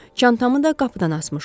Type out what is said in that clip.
Çantamı da qapıdan asmışdım.